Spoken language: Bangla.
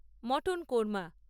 মটন কোর্মা